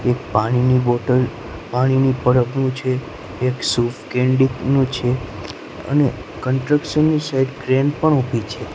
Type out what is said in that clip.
એક પાણીની બોટલ પાણીની પરબડું છે એક શુફકેન્ડીનું છે અને કન્ટ્રક્શન ની સાઇડ ક્રેન પણ ઉભી છે.